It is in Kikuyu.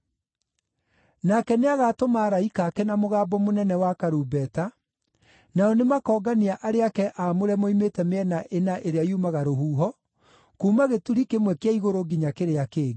Nake nĩagatũma araika ake na mũgambo mũnene wa karumbeta, nao nĩmakoongania arĩa ake aamũre moimĩte mĩena ĩna ĩrĩa yumaga rũhuho, kuuma gĩturi kĩmwe kĩa igũrũ nginya kĩrĩa kĩngĩ.